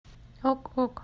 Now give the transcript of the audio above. ок ок